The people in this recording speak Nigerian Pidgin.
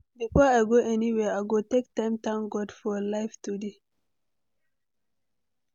Before I go anywhere, I go take time thank God for life today.